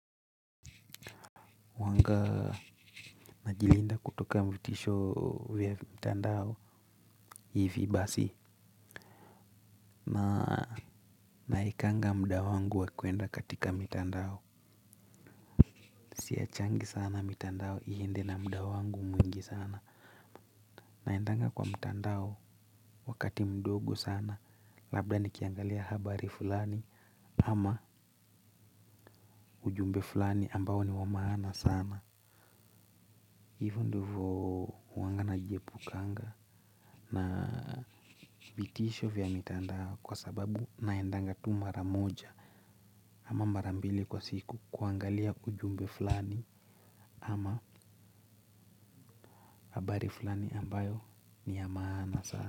Uwanga na jilinda kutoka mvitisho vya mtandao hivibasi naekanga musa wangu wa kwenda katika mitandao. Siachangi sana mtandao iende na muda wangu mwingi sana. Naendanga kwa mtandao wakati mdogo sana labda nikiangalia habari fulani ama ujumbe fulani ambao ni wamaana sana. Hivo ndivo huwangana nijiepukanga na vitisho vya mitandao kwa sababu naendanga tu mara moja ama mara mbili kwa siku kuangalia ujumbe fulani ama habari fulani ambayo niya maana sana.